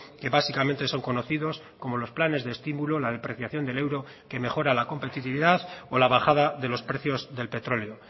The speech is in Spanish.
que básicamente son conocidos como los planes de estímulo la depreciación del euro que mejora la competitividad o la bajada de los precios del petróleo